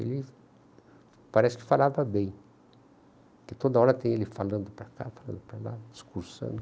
Ele parece que falava bem, porque toda hora tem ele falando para cá, falando para lá, discursando.